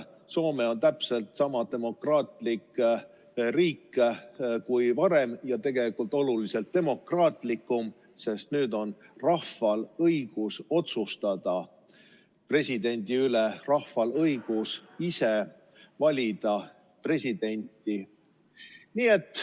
Soome on täpselt sama demokraatlik riik kui varem ja tegelikult oluliselt demokraatlikumgi, sest nüüd on rahval õigus otsustada presidendi üle, rahval õigus ise valida presidenti.